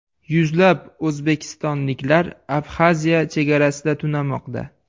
Yuzlab o‘zbekistonliklar Abxaziya chegarasida tunamoqda.